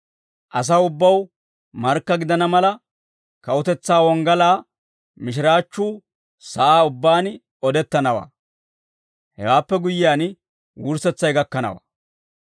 Asaw ubbaw markka gidana mala, kawutetsaa wonggalaa mishiraachchuu sa'aa ubbaan odettanawaa; hewaappe guyyiyaan, wurssetsay gakkanawaa.»